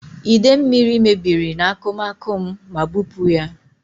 Ide mmiri mebiri n'akụmakụ m ma bupu ya.